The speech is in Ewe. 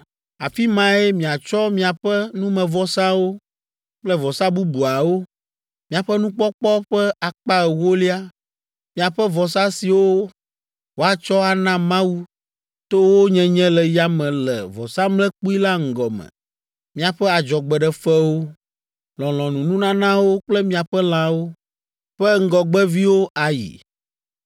Afi mae miatsɔ miaƒe numevɔsawo kple vɔsa bubuawo, miaƒe nukpɔkpɔ ƒe akpa ewolia, miaƒe vɔsa siwo woatsɔ ana Mawu to wo nyenye le yame le vɔsamlekpui la ŋgɔ me, miaƒe adzɔgbeɖefewo, lɔlɔ̃nununanawo kple miaƒe lãwo ƒe ŋgɔgbeviwo ayi.